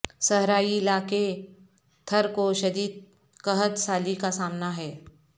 صحرائی علاقے تھر کو شدید قحط سالی کا سامنا ہے